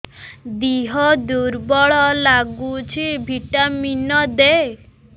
ଦିହ ଦୁର୍ବଳ ଲାଗୁଛି ଭିଟାମିନ ଦେ